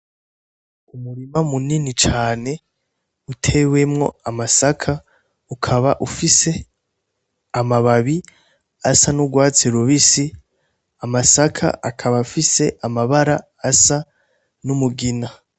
Umurima munini cane, utewemwo amasaka, ukaba ufise amababi asa n'urwatsi rubisi, amasaka akaba afise amabara asa numugina.